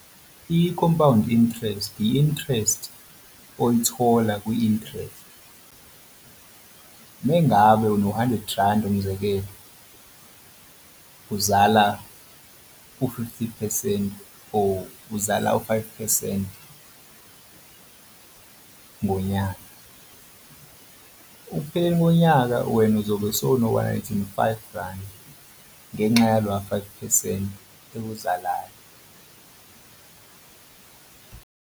I-compound interest, i-interest oyithola kwi-interest. Mengabe uno-hundred randi umzekelo, uzala u-fifty phesenti or uzala u-five phesenti ngonyaka. Ukupheleni konyaka wena uzobe usewuno-hundred and five randi ngenxa yalowa five phesenti ewuzalayo.